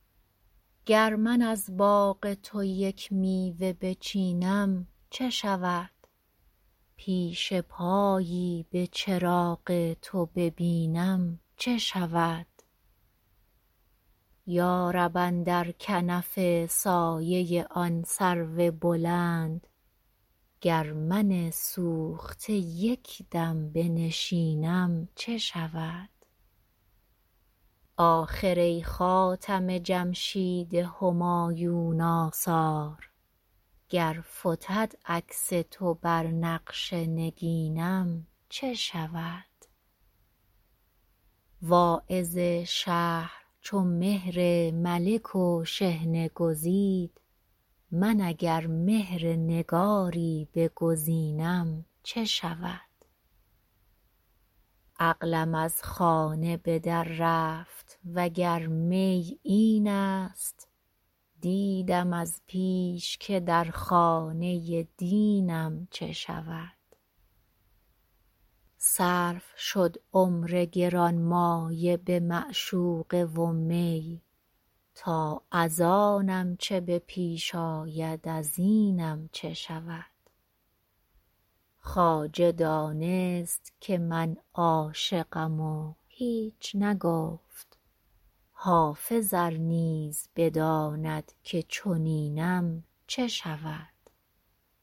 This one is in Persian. گر من از باغ تو یک میوه بچینم چه شود پیش پایی به چراغ تو ببینم چه شود یا رب اندر کنف سایه آن سرو بلند گر من سوخته یک دم بنشینم چه شود آخر ای خاتم جمشید همایون آثار گر فتد عکس تو بر نقش نگینم چه شود واعظ شهر چو مهر ملک و شحنه گزید من اگر مهر نگاری بگزینم چه شود عقلم از خانه به در رفت وگر می این است دیدم از پیش که در خانه دینم چه شود صرف شد عمر گرانمایه به معشوقه و می تا از آنم چه به پیش آید از اینم چه شود خواجه دانست که من عاشقم و هیچ نگفت حافظ ار نیز بداند که چنینم چه شود